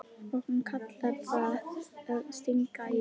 Og hann kallar það að stinga í.